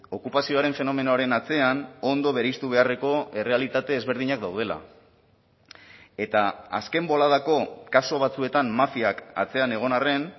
okupazioaren fenomenoaren atzean ondo bereiztu beharreko errealitate ezberdinak daudela eta azken boladako kasu batzuetan mafiak atzean egon arren